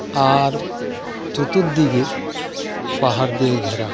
আর চতুর্দিকে পাহাড় দিয়ে ঘেরা .